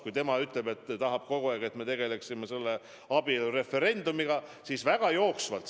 Kui tema ütleb, et me kogu aeg tegeleme selle abielureferendumiga, siis me tegelikult väga jooksvalt otsustame asju.